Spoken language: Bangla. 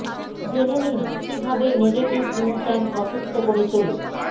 জেনে নিন কী ভাবে নেগেটিভ ইমোশন অসুস্থ করে তোলে